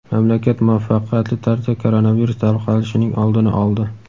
Mamlakat muvaffaqiyatli tarzda koronavirus tarqalishining oldini oldi.